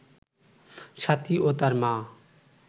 সাথী ও তার মা